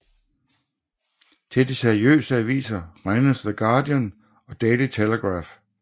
Til de seriøse aviser regnes The Guardian og Daily Telegraph